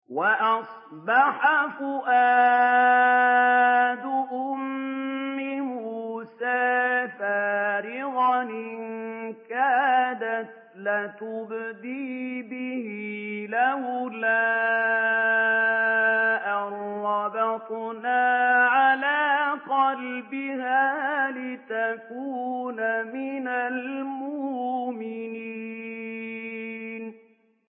وَأَصْبَحَ فُؤَادُ أُمِّ مُوسَىٰ فَارِغًا ۖ إِن كَادَتْ لَتُبْدِي بِهِ لَوْلَا أَن رَّبَطْنَا عَلَىٰ قَلْبِهَا لِتَكُونَ مِنَ الْمُؤْمِنِينَ